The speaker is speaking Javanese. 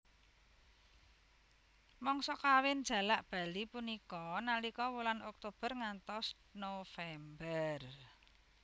Mangsa kawin jalak bali punika nalika wulan Oktober ngantos November